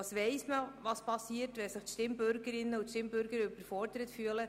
Wir wissen, was passiert, wenn sich diese überfordert fühlen: